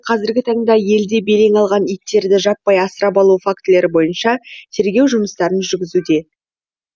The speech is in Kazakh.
қазіргі таңда елде белең алған иттерді жаппай асырап алу фактілері бойынша тергеу жұмыстарын жүргізуде